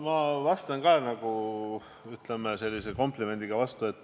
Ma vastan ka komplimendiga.